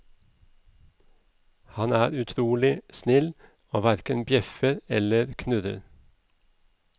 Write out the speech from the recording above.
Han er utrolig snill, og hverken bjeffer eller knurrer.